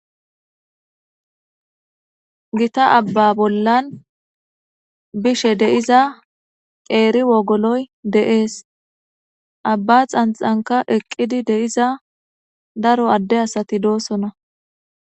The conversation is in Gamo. Gita abba bollan bishe deiza qeeri wogoloy deees abba xanxanka eqqidi de'iza daro adde asati doosona.